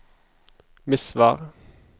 Misvær